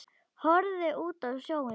Horfði út á sjóinn.